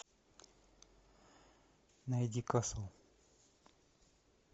найди касл